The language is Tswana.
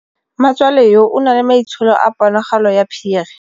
Mmatswale yo, o na le maitsholô a ponagalo ya phiri.